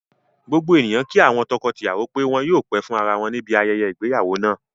Gbogbo ènìyàn kí àwọn tọkọ tìyàwọ́ pé wọn yóò pẹ́ fún ara wọn níbi ayẹyẹ ìgbéyàwó náà